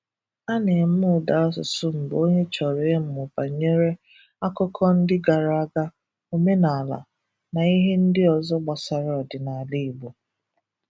A na-eme ụda asụsụ mgbe onye chọrọ ịmụ banyere akụkọ ndị gara aga, omenala, na ihe ndị ọzọ gbasara ọdịnala Igbo.